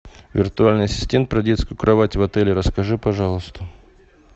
виртуальный ассистент про детскую кровать в отеле расскажи пожалуйста